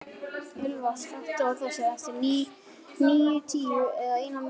Ylva, slökktu á þessu eftir níutíu og eina mínútur.